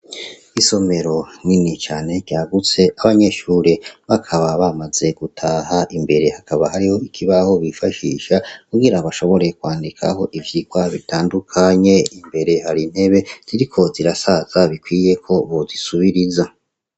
Isomero nini cane ryagutse abanyeshure bakaba bamaze gutaha imbere hakaba hariho ikibaho bifashisha kugira abashoboreye kwandikaho ivyirwa bitandukanye imbere hari ntebe ziriko zirasaza bikwiyeko bozisubiriza.